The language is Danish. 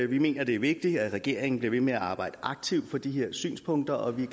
vi mener det er vigtigt at regeringen bliver ved med at arbejde aktivt for de her synspunkter og vi